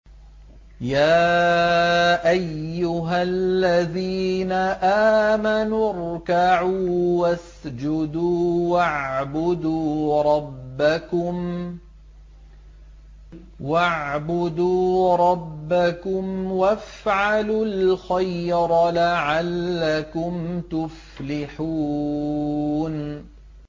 يَا أَيُّهَا الَّذِينَ آمَنُوا ارْكَعُوا وَاسْجُدُوا وَاعْبُدُوا رَبَّكُمْ وَافْعَلُوا الْخَيْرَ لَعَلَّكُمْ تُفْلِحُونَ ۩